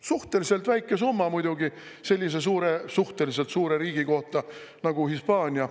Suhteliselt väike summa muidugi sellise suhteliselt suure riigi kohta nagu Hispaania.